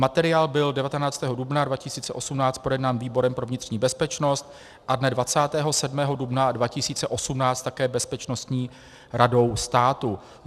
Materiál byl 19. dubna 2018 projednán výborem pro vnitřní bezpečnost a dne 27. dubna 2018 také Bezpečnostní radou státu.